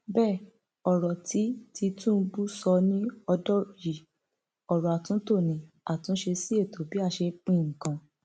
bẹẹ ọrọ tí tìtúnbù sọ ni ọdọ yìí ọrọ àtúntò ní àtúnṣe sí ètò bí a ṣe ń pín nǹkan